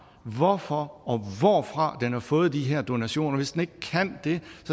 hvorfor og hvorfra den har fået de her donationer og hvis den ikke kan det